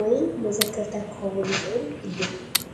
ወይ መዘከርታ ክኸውን ይኽእል እዩ።